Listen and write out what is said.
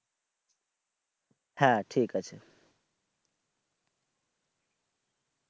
হ্যাঁ ঠিক আছে